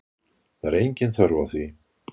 Það er engin þörf á því.